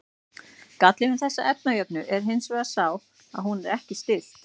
Gallinn við þessa efnajöfnu er hins vegar sá að hún er ekki stillt.